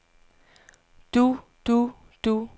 du du du